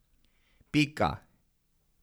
Pika.